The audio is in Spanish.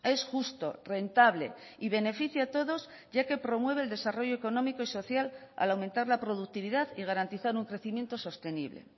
es justo rentable y beneficia a todos ya que promueve el desarrollo económico y social al aumentar la productividad y garantizar un crecimiento sostenible